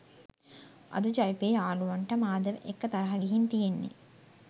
අද ජවිපෙ යාළුවොන්ට මාධව එක්ක තරහ ගිහින් තියෙන්නේ